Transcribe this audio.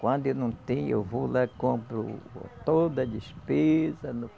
Quando eu não tenho, eu vou lá e compro toda a despesa.